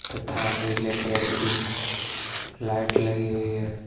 तथा नीले कलर की लाइट लगी हुई हैं।